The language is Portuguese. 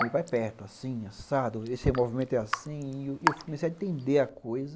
Meu pai perto, assim, assado, esse movimento é assim, e eu comecei a entender a coisa.